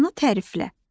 Bacını təriflə.